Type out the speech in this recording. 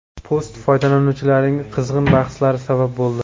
Post foydalanuvchilarning qizg‘in bahslariga sabab bo‘ldi.